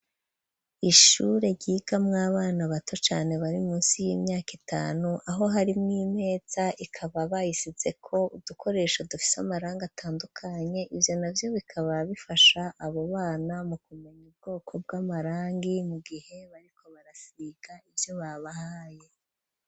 Ishure ryiga mw'abana bato cane bari munsi y'imyaka itanu aho hari mw'imeza ikaba bayisizeko udukoresho dufise amarangi atandukanye ivyo navyo bikaba bifasha aba bana mu kumenya ubwoko bw'amarangi mu gihe bariko barasiga ivyo babahaye.